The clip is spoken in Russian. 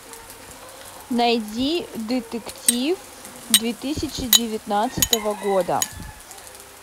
найди детектив две тысячи девятнадцатого года